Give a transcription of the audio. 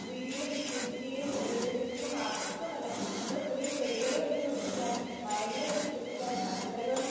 രീതിയില് നിക്ഷേപിക്കുകയും പുനരുപയോഗിക്കുകയും മാത്രമല്ല നമ്മള് പുതിയ ചെടികള് വച്ചുപിടിപ്പിക്കാനും മരങ്ങള് വച്ചുപിടിപ്പിക്കാനും പച്ചക്കറികളും